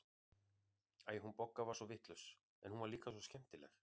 Æ, hún Bogga var svo vitlaus, en hún var líka svo skemmtileg.